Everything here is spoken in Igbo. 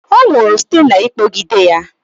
Ọ nwụrụ site n'ịkpọgide ya.